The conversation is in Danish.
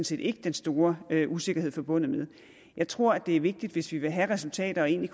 set ikke den store usikkerhed forbundet med jeg tror det er vigtigt hvis vi vil have resultater og egentlig